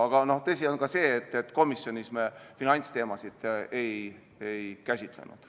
Aga tõsi on ka see, et komisjonis me finantsteemasid ei käsitlenud.